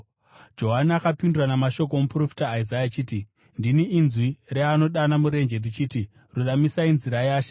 Johani akapindura namashoko omuprofita Isaya achiti, “Ndini inzwi reanodana murenje, richiti, ‘Ruramisai nzira yaShe.’ ”